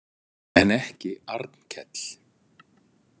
En ekki Arnkell.